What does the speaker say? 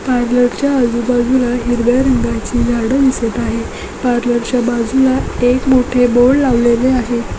Parlour च्या आजूबाजूला हिरव्या रंगाची झाडं दिसत आहे पार्लर च्या बाजूला एक मोठे बोर्ड लावलेले आहे.